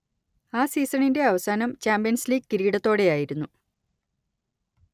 ആ സീസണിന്റെ അവസാനം ചാമ്പ്യൻസ് ലീഗ് കിരീടത്തോടെയായിരുന്നു